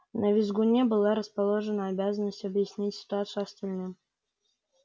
на визгуне была расположена обязанность объяснить ситуацию остальным